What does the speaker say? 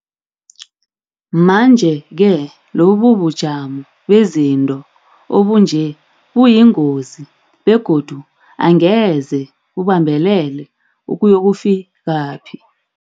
Manje-ke lobubujamo bezinto obunje buyingozi begodu angeze bubambelele ukuyokufi kaphi.